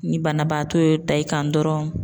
Ni banabaatɔ y'o ta i kan dɔrɔn